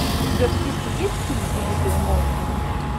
у тебя в списке есть фильм убитые молнией